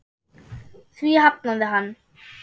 Því hafnaði hann.